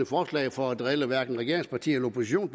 forslag for at drille regeringspartierne